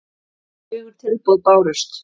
Fjögur tilboð bárust.